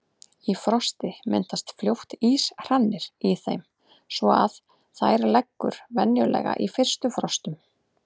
Í frosti myndast fljótt íshrannir í þeim svo að þær leggur venjulega í fyrstu frostum.